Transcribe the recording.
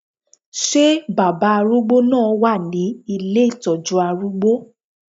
Ṣé baba arúgbó náà wà ní ilé ìtọ́jú arúgbó?